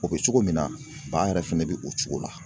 O bɛ cogo min na ba yɛrɛ fɛnɛ bi o cogo la.